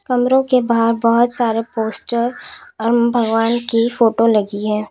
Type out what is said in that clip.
कमरों के बाहर बहुत सारा पोस्टर और भगवान की फोटो लगी है।